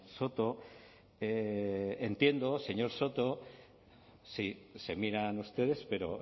soto entiendo señor soto sí se miran ustedes pero